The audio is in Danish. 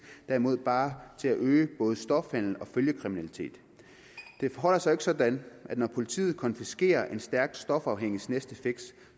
derimod bare øge både stofhandelen og følgekriminaliteten det forholder sig jo ikke sådan at når politiet konfiskerer en stærkt stofafhængigs næste fix